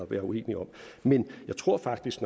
være uenige om men jeg tror faktisk